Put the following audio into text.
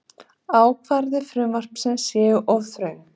Ákvæði frumvarpsins séu of þröng